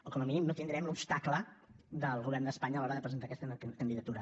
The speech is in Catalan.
o com a mínim no tindrem l’obstacle del govern d’espanya a l’hora de presentar aquesta candidatura